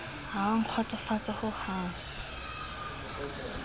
ha e a nkgotsofatsa hohang